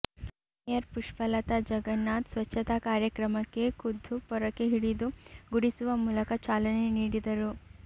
mayor Pushpalatha Jagannath ಸ್ವಚ್ಛತಾ ಕಾರ್ಯಕ್ರಮಕ್ಕೆ ಖುದ್ದು ಪೊರಕೆ ಹಿಡಿದು ಗುಡಿಸುವ ಮೂಲಕ ಚಾಲನೆ ನೀಡಿದರು